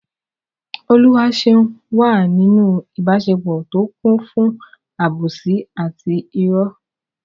Oluwaseun wà nínú ìbáṣepọ̀ tó kún fún àbòsí àti ìrọ́.